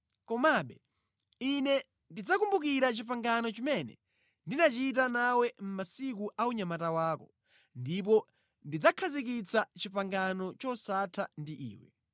Komabe, Ine ndidzakumbukira pangano limene ndinachita nawe mʼmasiku a unyamata wako, ndipo ndidzakhazikitsa pangano losatha ndi iwe.